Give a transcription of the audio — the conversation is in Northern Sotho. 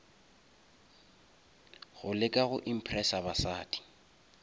go leka go impressa basadi